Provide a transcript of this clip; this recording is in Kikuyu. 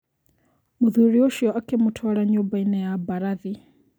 Mũthuri ũcio akĩmũtwara nyũmbainĩ ya mbarathi.